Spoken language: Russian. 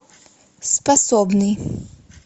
способный